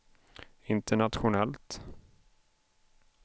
internationellt